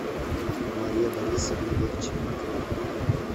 мария борисовна вехчеренкова